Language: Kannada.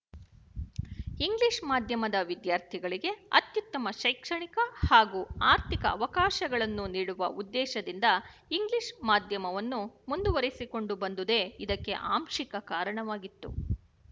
ಇಂಗ್ಲಿಶ ಮಾಧ್ಯಮದ ವಿದ್ಯಾರ್ಥಿಗಳಿಗೆ ಅತ್ಯುತ್ತಮ ಶೈಕ್ಷಣಿಕ ಹಾಗೂ ಆರ್ಥಿಕ ಅವಕಾಶಗಳನ್ನು ನೀಡುವ ಉದ್ದೇಶದಿಂದ ಇಂಗ್ಲಿಶ ಮಾಧ್ಯಮವನ್ನು ಮುಂದುವರಿಸಿಕೊಂಡು ಬಂದುದೇ ಇದಕ್ಕೆ ಆಂಶಿಕ ಕಾರಣವಾಗಿತ್ತು